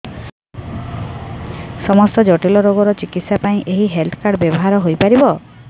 ସମସ୍ତ ଜଟିଳ ରୋଗର ଚିକିତ୍ସା ପାଇଁ ଏହି ହେଲ୍ଥ କାର୍ଡ ବ୍ୟବହାର ହୋଇପାରିବ